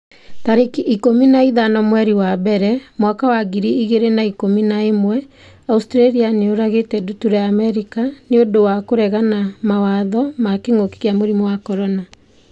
tarĩki ikũmi na ithano mweri wa mbere mwaka wa ngiri igĩrĩ na ikũmi na ĩmweAustralia nĩ yũragĩte ndutura ya Amerika 'nĩ ũndũ wa kũregana mawatho ma kĩngũki kia mũrimũ wa CORONA